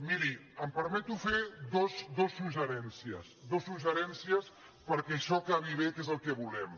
mirin em permeto fer dos suggeriments dos sugge·riments perquè això acabi bé que és el que volem